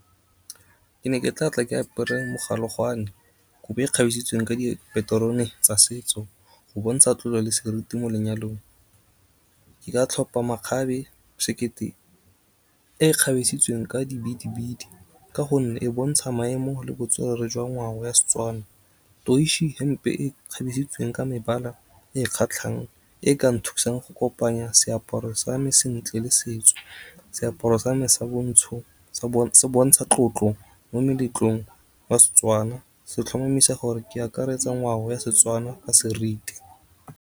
Ke ne ke tlatla ke apere mogalogwane kobo e kgabisitsweng ka dipaterone tsa setso. Go bontsha tlolo le seriti mo lenyalong, ke ka tlhopa makgabe, sekete, e ka di bidibidi. Ka gonne, e bontshang maemo le botswerere jwa ngwao ya Setswana. hempe e e kgabesitsweng ka mebala e kgatlhang e ka nthusang go kopanya seaparo sa me sentle le setso. Seaparo sa me sa bontsho, se bontsha tlotlo mo meletlong wa Setswana se tlhomamisa gore ke akaretsa ngwao ya Setswana ka seriti.